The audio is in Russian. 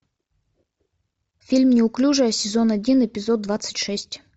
фильм неуклюжая сезон один эпизод двадцать шесть